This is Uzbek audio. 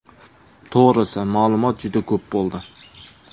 To‘g‘risi, ma’lumot juda ko‘p bo‘ldi.